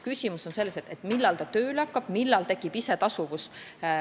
Küsimus on lihtsalt selles, millal ta tööle hakkab, millal tekib isetasuvus.